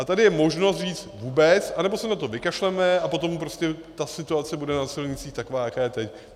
A tady je možnost říct vůbec, anebo se na to vykašleme, a potom prostě ta situace bude na silnicích taková, jaká je teď.